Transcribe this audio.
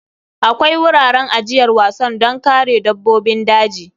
Akwai wuraren ajiyar wasan don kare dabbobin daji.